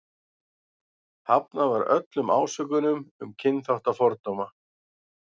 Hafnað var öllum ásökunum um kynþáttafordóma.